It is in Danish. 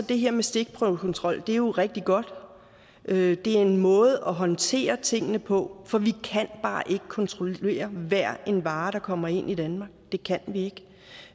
det her med stikprøvekontrol jo rigtig godt det er en måde at håndtere tingene på for vi kan bare ikke kontrollere hver vare der kommer ind i danmark det kan vi